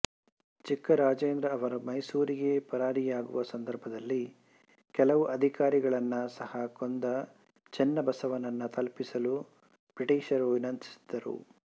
ಚಿಕ್ಕ ರಾಜೇಂದ್ರ ಅವರು ಮೈಸೂರಿಗೆ ಪರಾರಿಯಾಗುವ ಸಂದರ್ಭದಲ್ಲಿ ಕೆಲವು ಅಧಿಕಾರಿಗಳನ್ನು ಸಹ ಕೊಂದ ಚೆನ್ನ ಬಸವನನ್ನು ತಲುಪಿಸಲು ಬ್ರಿಟಿಷರನ್ನು ವಿನಂತಿಸಿದ್ದರು